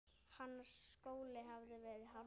Hans skóli hafði verið harður.